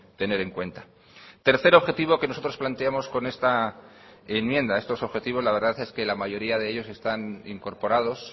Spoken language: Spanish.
tener en cuenta tercer objetivo que nosotros planteamos con esta enmienda estos objetivos la verdad es que la mayoría de ellos están incorporados